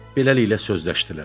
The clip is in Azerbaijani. Beləliklə sözləşdilər.